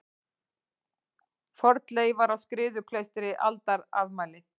Fornleifar á Skriðuklaustri Aldarafmæli.